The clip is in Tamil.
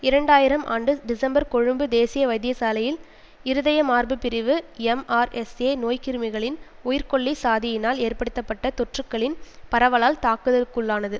இரண்டாயிரம் ஆண்டு டிசெம்பர் கொழும்பு தேசிய வைத்தியசாலையின் இருதய மார்பு பிரிவு எம்ஆர்எஸ்ஏ நோய்க்கிருமிகளின் உயிர்கொல்லி சாதியினால் ஏற்படுத்தப்பட்ட தொற்றுக்களின் பரவலால் தாக்குதல்க்குள்ளானது